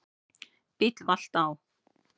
Bíll valt á